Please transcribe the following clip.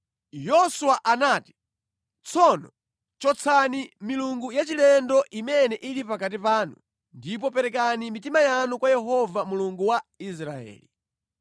Yoswa anati, “Tsono chotsani milungu yachilendo imene ili pakati panu ndipo perekani mitima yanu kwa Yehova Mulungu wa Israeli.”